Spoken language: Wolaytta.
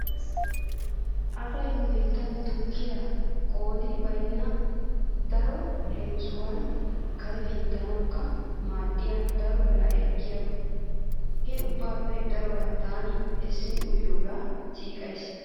Asay nu biittan tukkiya qoodi baynna darobawu leemisuwawu kare pinttanawukka maaddiya daro biraa ekkiyaba. He ubbaappe daruwa taani essin uyiyogaa siiqays.